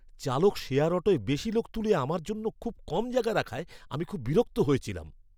চালক শেয়ার অটোয় বেশি লোক তুলে আমার জন্য খুব কম জায়গা রাখায় আমি খুব বিরক্ত হয়েছিলাম।